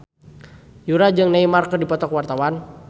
Yura jeung Neymar keur dipoto ku wartawan